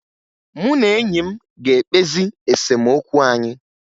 Mụ na enyi m ga-ekpezi esemokwu anyị